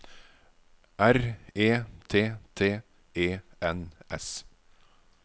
R E T T E N S